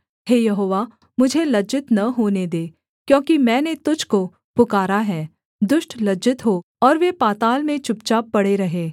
हे यहोवा मुझे लज्जित न होने दे क्योंकि मैंने तुझको पुकारा है दुष्ट लज्जित हों और वे पाताल में चुपचाप पड़े रहें